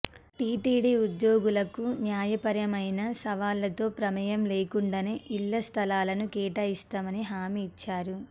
TTD ఉద్యోగులకు న్యాయ పరమైన సవాళ్లతో ప్రమేయం లేకుండానే ఇళ్ల స్థలాలను కేటాయిస్తామని హామీ ఇచ్చారు